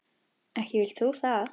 Ekki vilt þú það?